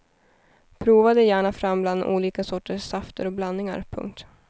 Prova dig gärna fram bland olika sorters safter och blandningar. punkt